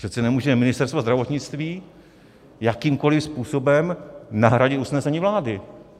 Přece nemůže Ministerstvo zdravotnictví jakýmkoli způsobem nahradit usnesení vlády.